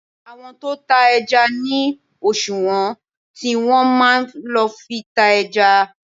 Àwọn tó tá ẹja ní òṣùwọ̀n tí wọn máa ń lo fi ta ẹja.